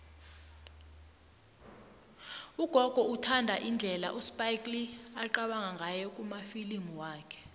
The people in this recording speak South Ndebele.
ugogo uthanda indlela uspike lee aqabanga ngayo kumafilimu wakhe